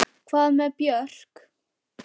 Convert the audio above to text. Hvað með Björk?